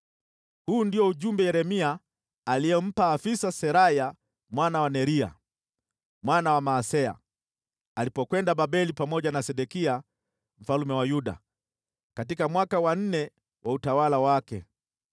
Huu ndio ujumbe Yeremia aliompa afisa Seraya mwana wa Neria mwana wa Maaseya, alipokwenda Babeli pamoja na Sedekia mfalme wa Yuda, katika mwaka wa nne wa utawala wake.